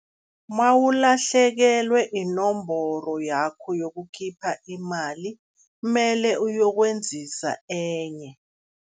Mawulahlekelwe inomboro yakho yokukhipha imali, mele uyokwenzisa enye.